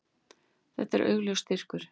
Þetta er augljós styrkur.